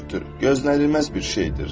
Gözlənilməz bir şeydir.